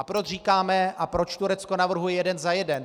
A proč říkáme a proč Turecko navrhuje "jeden za jeden".